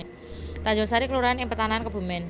Tanjungsari kelurahan ing Petanahan Kebumèn